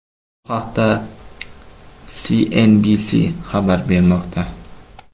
Bu haqda CNBC xabar bermoqda .